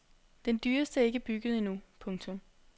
Den dyreste er ikke bygget endnu. punktum